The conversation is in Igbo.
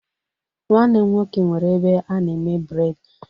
Nwanne m nwoke nwere ebe a na-eme bred